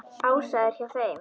Ása er hjá þeim.